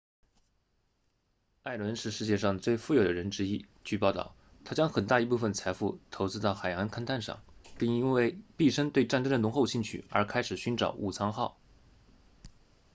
艾伦是世界上最富有的人之一据报道他将很大一部分财富投资到海洋勘探上并因为毕生对战争的浓厚兴趣而开始寻找武藏号